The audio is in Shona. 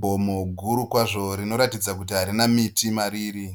Gomo guru kwazvo rinoratidza kuti harina miti mariri.